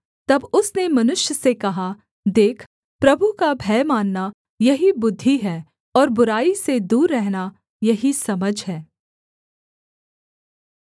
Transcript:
तब उसने मनुष्य से कहा देख प्रभु का भय मानना यही बुद्धि है और बुराई से दूर रहना यही समझ है